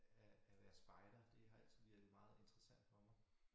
At at være spejder det har altid virket meget interessant for mig